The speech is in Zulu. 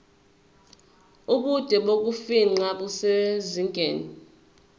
ubude bokufingqa busezingeni